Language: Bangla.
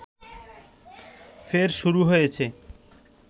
ফের শুরু হয়েছে